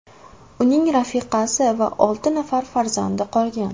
Uning rafiqasi va olti nafar farzandi qolgan.